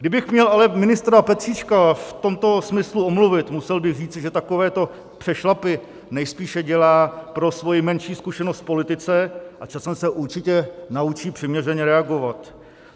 Kdybych měl ale ministra Petříčka v tomto smyslu omluvit, musel bych říci, že takovéto přešlapy nejspíše dělá pro svoji menší zkušenost v politice a časem se určitě naučí přiměřeně reagovat.